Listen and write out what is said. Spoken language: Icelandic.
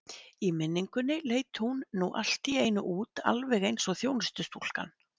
Í minningunni leit hún nú allt í einu út alveg eins og þjónustustúlkan.